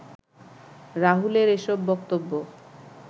রাহুলের এসব বক্তব্য